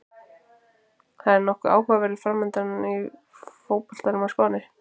Það er nokkuð áhugaverður framundan í fótboltanum á Spáni.